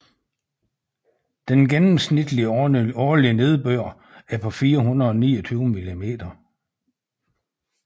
Den gennemsnitlige årlige nedbør er på 429 mm